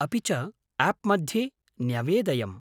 अपि च आप् मध्ये न्यवेदयम्।